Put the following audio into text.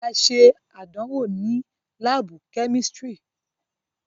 A ṣe àdánwò ni laabu kemistri